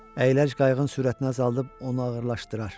Əyləc qayığın sürətini azaldıb onu ağırlaşdırar.